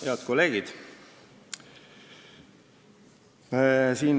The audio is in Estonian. Head kolleegid!